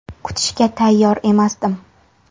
Kutishga tayyor emasdim.